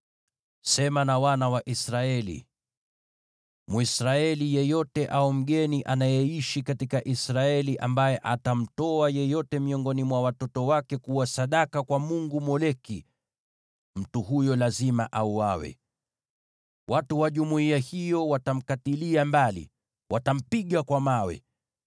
“Sema na wana wa Israeli: ‘Mwisraeli yeyote au mgeni anayeishi katika Israeli ambaye atamtoa yeyote miongoni mwa watoto wake kuwa sadaka kwa mungu Moleki, mtu huyo lazima auawe. Watu wa jumuiya hiyo watampiga kwa mawe.